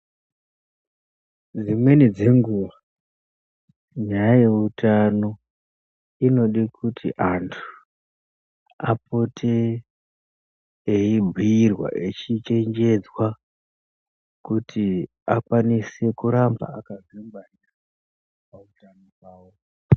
Dzimweni dzenguva nyaya yeutano inode kuti antu apote eibhiirwa echichenjedzwa kuti akwanise kuramba akasimba pautano pawo.